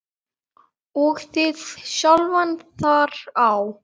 og þig sjálfan þar á.